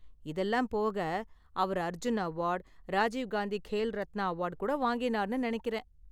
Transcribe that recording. இதெல்லாம் போக, அவர் அர்ஜுன் அவார்டு, ராஜிவ் காந்தி கேல் ரத்னா அவார்டு கூட வாங்கினார்னு நினைக்கிறேன் .